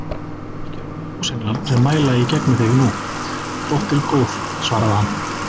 Ekki eru það ljósenglar sem mæla í gegnum þig nú, dóttir góð, svaraði hann.